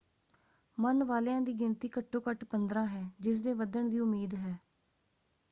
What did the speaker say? ਮਰਨ ਵਾਲਿਆਂ ਦੀ ਗਿਣਤੀ ਘੱਟੋ ਘੱਟ 15 ਹੈ ਜਿਸਦੇ ਵੱਧਣ ਦੀ ਉਮੀਦ ਹੈ।